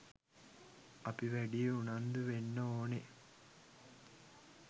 අපි වැඩිය උන්නන්දු වෙන්න ඕනෙ?